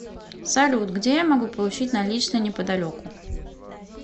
салют где я могу получить наличные неподалеку